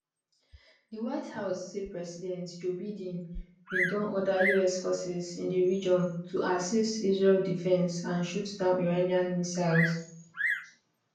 di white house say president joe biden bin don order us forces in di region to assist israel defence and shoot down iranian missiles